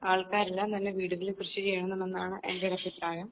എല്ലാം തന്നെ വീടുകളിൽ കൃഷിചെയ്യണമെന്നാണ് എൻ്റെ ഒരു അഭിപ്രായം